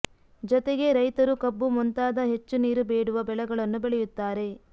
ಜೊತೆಗೆ ರೈತರು ಕಬ್ಬು ಮುಂತಾದ ಹೆಚ್ಚು ನೀರು ಬೇಡುವ ಬೆಳೆಗಳನ್ನು ಬೆಳೆಯುತ್ತಾರೆ